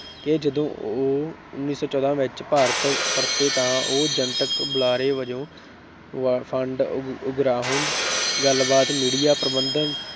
ਕਿ ਜਦੋਂ ਉਹ ਉੱਨੀ ਸੌ ਚੌਦਾਂ ਵਿੱਚ ਭਾਰਤ ਪਰਤੇ ਤਾਂ ਉਹ ਜਨਤਕ ਬੁਲਾਰੇ ਵਜੋਂ, ਫੰਡ ਉਗਰਾਹੁਣ, ਗੱਲਬਾਤ media ਪ੍ਰਬੰਧ